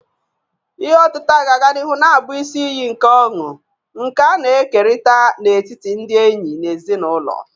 Ihe otita ga-aga n'ihu na-abụ isi iyi nke ọṅụ, nke a na-ekerịta n'etiti ndị enyi na ezinụlọ.